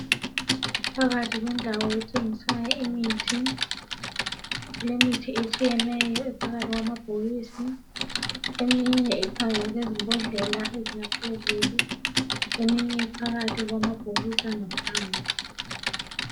Phakathi kwendawo ethingisayo imithi, kulemithi etshiyeneyo phakathi kwamabhokisi, eminye iphakathi kwezimbodlela ezingaphezulu. Eminye iphakathi kwamabhokisi angaphansi.